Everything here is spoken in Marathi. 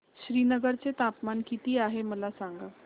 श्रीनगर चे तापमान किती आहे मला सांगा